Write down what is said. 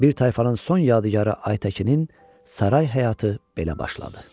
Bir tayfanın son yadigarı Aytəkinin saray həyatı belə başladı.